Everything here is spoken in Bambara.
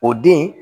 O den